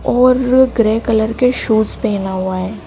और grey colour के shoes पेहना हुआ है।